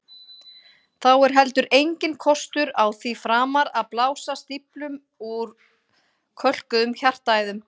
Þá er heldur enginn kostur á því framar að blása stíflum úr kölkuðum hjartaæðum.